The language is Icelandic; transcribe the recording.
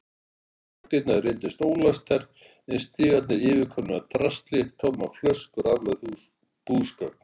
Bakdyrnar reyndust ólæstar en stigarnir yfirkomnir af drasli, tómar flöskur og aflögð búsgögn.